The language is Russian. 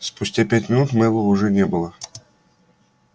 спустя пять минут мэллоу уже не было